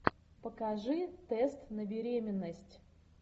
покажи тест на беременность